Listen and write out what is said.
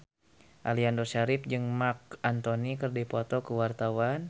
Aliando Syarif jeung Marc Anthony keur dipoto ku wartawan